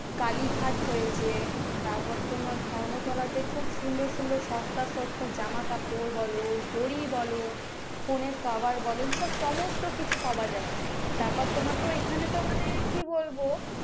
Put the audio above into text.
কালিঘাট রয়েছে তারপর তোমার ধর্মতলাতে খুব সুন্দর সুন্দর সস্তা সস্তা জামা কাপড় বলো ঘড়ি বলো ফোনের কভার বলো এই সমস্ত কিছু পাওয়া যায় তারপর তোমার এখানে তো মানে কি বলবো,